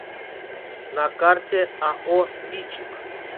на карте ао бичик